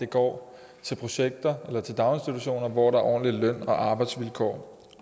går til projekter og daginstitutioner hvor der er ordentlige løn og arbejdsvilkår